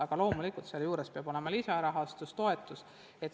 Aga loomulikult peab olema ka lisarahastus, toetus.